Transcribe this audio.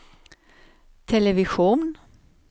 television